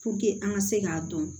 an ka se k'a dɔn